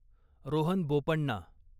Rohan Bopanna